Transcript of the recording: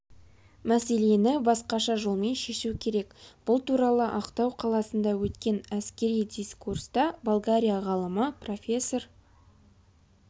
мәселені басқаша жолмен шешу керек бұл туралы ақтау қаласында өткен әскери дискурста болгария ғалымы профессор